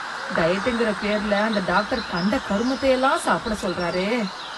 டயட்ங்குற பேர்ல அந்த டாக்டர் கண்ட கருமத்தை எல்லாம் சாப்பிட சொல்றாரே!